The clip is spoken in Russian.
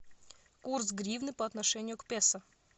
курс гривны по отношению к песо